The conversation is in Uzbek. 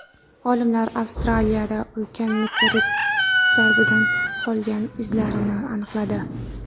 Olimlar Avstraliyada ulkan meteorit zarbidan qolgan izlarni aniqladi.